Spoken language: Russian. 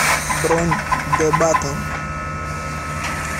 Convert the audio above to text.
бронь дебатон